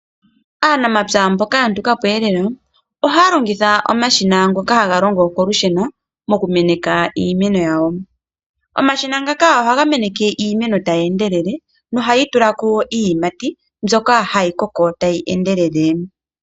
Aanamapya mboka ya nduka po elelo ohaya longitha omashina ngoka haga longo kolusheno mokumeneka iimeno yawo, omashina ngaka ohaga meneke iimeno tagee ndelele nohayi tula ko iiyimati mbyoka hayi koko tayi endelele.